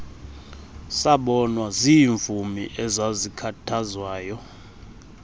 sabonwa ziimvumi ezazikhathazwayo